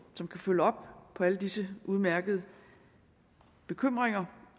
som kan følge op på alle disse udmærkede bekymringer